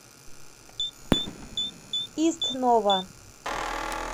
истнова